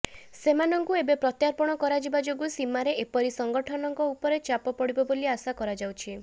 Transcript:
ସେମାନଙ୍କୁ ଏବେ ପ୍ରତ୍ୟାର୍ପଣ କରାଯିବା ଯୋଗୁ ସୀମାରେ ଏପରି ସଙ୍ଗଠନଙ୍କ ଉପରେ ଚାପ ପଡିବ ବୋଲି ଆଶା କରାଯାଉଛି